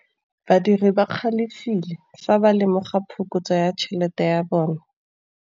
Badiri ba galefile fa ba lemoga phokotsô ya tšhelête ya bone.